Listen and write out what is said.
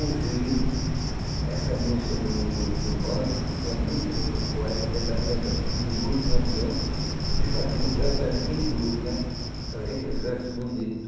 Ouviram essa música do do do bando, que tinha muito poeta dentro da dentro da dentro do grupo de Lampião, que fazia um verso dentro daquele grupo né, fazia aqueles versos bonitos.